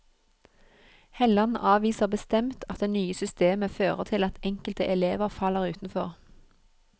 Helland avviser bestemt at det nye systemet fører til at enkelte elever faller utenfor.